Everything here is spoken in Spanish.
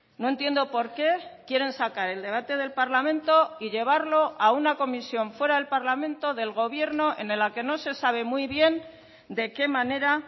no entiendo porqué quieren sacar el debate del parlamento y llevarlo a una comisión fuera del parlamento del gobierno en la que no se sabe muy bien de qué manera